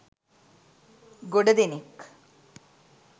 ගොඩ දෙනෙක්